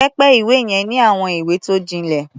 Pẹpẹ-ìwé yẹn ní àwọn ìwé tó jinlẹ̀.